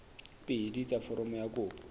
pedi tsa foromo ya kopo